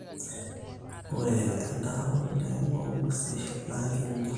Oree edaare oleng oo nguesin na kinyal